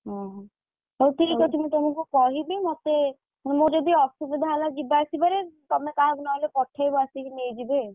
ଓହୋଃ ହଉ ଠିକ୍ ଅଛି ମୁଁ ତମୁକୁ କହିବି ମତେ ମୋର ଯଦି ଅସୁବିଧା ହେଲା ଯିବା ଆସିବା ରେତମେ କାହାକୁ ନହେଲେ ପଠେଇବ ଆସିକି ନେଇଯିବେ।